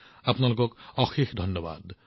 নমস্কাৰ আপোনালোকক অশেষ ধন্যবাদ